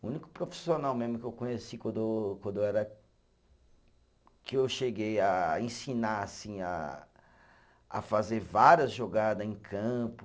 O único profissional mesmo que eu conheci quando quando eu era que eu cheguei a ensinar assim a, a fazer várias jogadas em campo,